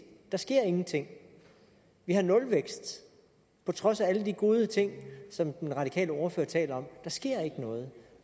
der sker ingenting vi har nulvækst på trods af alle de gode ting som den radikale ordfører taler om der sker ikke noget